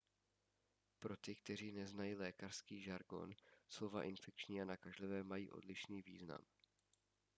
pro ty kteří neznají lékařský žargon slova infekční a nakažlivé mají odlišný význam